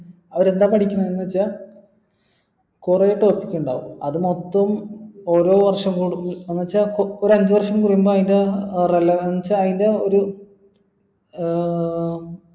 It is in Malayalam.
അവരെന്താ പഠിക്കുന്നത് വെച്ച കുറെ test ഉണ്ടാവും അതുമൊത്തം ഓരോ വേഷം എന്നുവച്ചാ ഒരു അഞ്ചുവർഷം കഴിയുമ്പോ അയിൻറെ relevance അയിൻറെ ഒര ഏർ